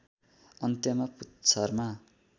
अन्त्यमा पुच्छारमा